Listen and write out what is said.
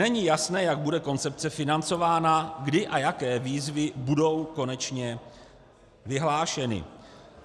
Není jasné, jak bude koncepce financována, kdy a jaké výzvy budou konečně vyhlášeny.